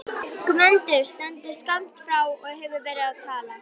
Gvendur stendur skammt frá og hefur verið að tala.